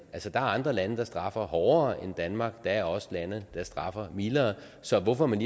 er andre lande der straffer hårdere end danmark der er også lande der straffer mildere så hvorfor man